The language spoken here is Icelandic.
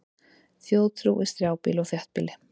Þjóðtrú í strjálbýli og þéttbýli